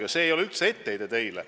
Ja see ei ole üldse etteheide teile.